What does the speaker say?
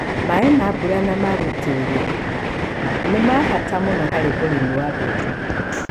Maaĩ ma mbura na ma gũitĩrĩria nĩ ma bata mũno harĩ ũrĩmi wa mbembe